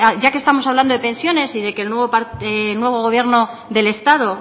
ya que estamos hablando de pensiones y de que el nuevo gobierno del estado